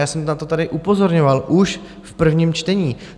Já jsem na to tady upozorňoval už v prvním čtení.